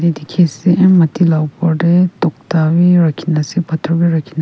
dikhiase m mati la opor tae tokta bi rakhina ase phator bi rakhina--